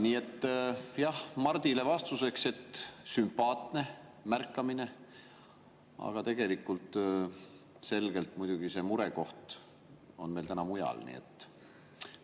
Nii et jah, Mardile vastuseks: sümpaatne märkamine, aga muidugi on murekoht meil täna selgelt mujal.